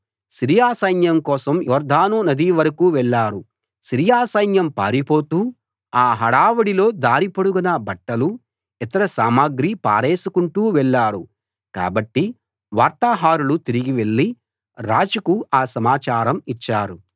Syria సైన్యం కోసం యొర్దాను నది వరకూ వెళ్ళారు సిరియా సైన్యం పారిపోతూ ఆ హడావుడిలో దారి పొడుగునా బట్టలూ ఇతర సామగ్రీ పారేసుకుంటూ వెళ్ళారు కాబట్టి వార్తాహరులు తిరిగి వెళ్ళి రాజుకు ఆ సమాచారం ఇచ్చారు